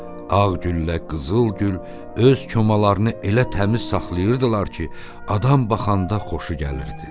Ağgüllə Qızılgül öz komalarını elə təmiz saxlayırdılar ki, adam baxanda xoşu gəlirdi.